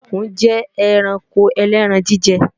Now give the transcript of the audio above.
Ẹkùn jẹ́ ẹranko ẹlẹ́ran-jíjẹ